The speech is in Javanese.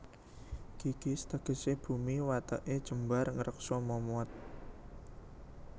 Gigis tegesé bumi watêké jembar ngreksa momot